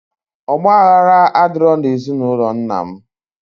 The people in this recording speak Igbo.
Ogbaghala adiro na ezi na ulo nnam.